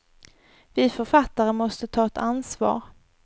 Vi författare måste ta ett ansvar.